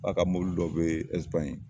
K'a ka mɔbili dɔ be ɛsipaɲin